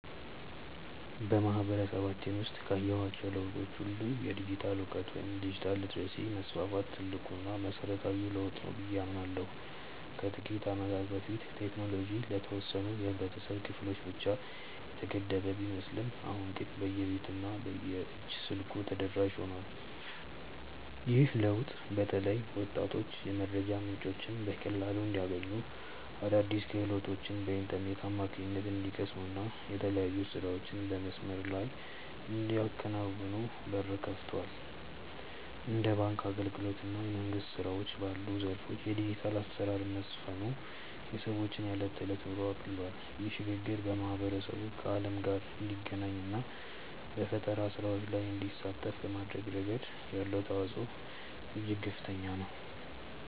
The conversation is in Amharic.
በማህበረሰባችን ውስጥ ካየኋቸው ለውጦች ሁሉ የዲጂታል እውቀት ወይም ዲጂታል ሊተረሲ መስፋፋት ትልቁና መሰረታዊው ለውጥ ነው ብዬ አምናለሁ። ከጥቂት ዓመታት በፊት ቴክኖሎጂ ለተወሰኑ የህብረተሰብ ክፍሎች ብቻ የተገደበ ቢመስልም አሁን ግን በየቤቱ እና በየእጅ ስልኩ ተደራሽ ሆኗል። ይህ ለውጥ በተለይ ወጣቶች የመረጃ ምንጮችን በቀላሉ እንዲያገኙ፣ አዳዲስ ክህሎቶችን በኢንተርኔት አማካኝነት እንዲቀስሙ እና የተለያዩ ስራዎችን በመስመር ላይ እንዲያከናውኑ በር ከፍቷል። እንደ ባንክ አገልግሎት እና የመንግስት ስራዎች ባሉ ዘርፎች የዲጂታል አሰራር መስፈኑ የሰዎችን የዕለት ተዕለት ኑሮ አቅልሏል። ይህ ሽግግር ማህበረሰቡ ከዓለም ጋር እንዲገናኝ እና በፈጠራ ስራዎች ላይ እንዲሳተፍ በማድረግ ረገድ ያለው ተጽዕኖ እጅግ ከፍተኛ ነው።